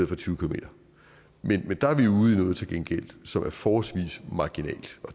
for tyve km men der er vi til gengæld som er forholdsvis marginalt